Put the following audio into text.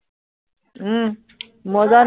উম মজা